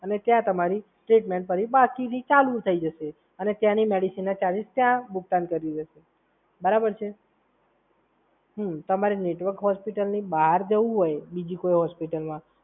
અને ત્યાં તમારું સ્ટેટમેન્ટ પછી પાસ થઈને પાછું ચાલુ થઈ જશે અને ત્યાંની મેડિસિન ચાલુ થઈ જશે, બરાબર છે હમ તમારે નેટવર્ક હોસ્પિટલની બહાર જવું હોય બીજી કોઈ હોસ્પિટલમાં,